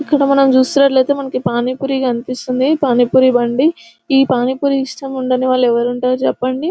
ఇక్కడ మనం చూస్తున్నట్లయితే మనకి పానీపూరి కనిపిస్తుంది పానీపూరి బండి ఈ పానీపూరి ఇష్టం ఉండని వాళ్ళు ఎవరుంటారు చెప్పండి --